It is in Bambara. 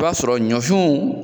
I b'a sɔrɔ ɲɔfinw